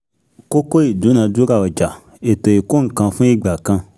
Kókó ìdúnadúrà ọjà (ètò ìkó-nǹkan-fún- igbà kan).